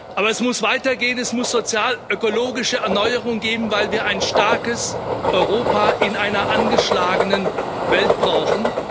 Aber es muss weitergehen. Es muss sozialökologische Erneuerung geben, weil wir ein starkes Europa in einer angeschlagenen Welt brauchen.